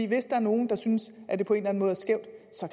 hvis der er nogen der synes at det på en måde er skævt